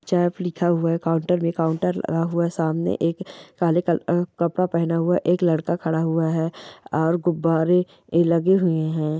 चाप लिखा हुआ है काउन्टर मे काउन्टर लगा हुआ है सामने एक काले कलर का कपड़ा पहना हुआ एक लड़का खड़ा हुआ है और गुब्बारे लगे हुए है ।